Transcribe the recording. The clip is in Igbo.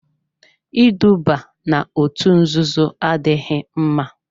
Iduba n'òtù nzuzo adịghị mma.